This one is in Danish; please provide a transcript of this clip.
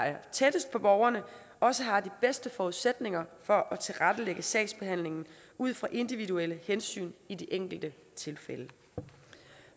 er tættest på borgerne og også har de bedste forudsætninger for at tilrettelægge sagsbehandlingen ud fra individuelle hensyn i de enkelte tilfælde